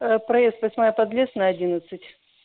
проезд восьмая подлесной одиннадцать